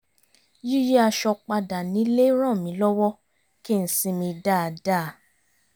yíyí aṣọ padà nílé ràn mí lọ́wọ́ kí n sinmi dáadáa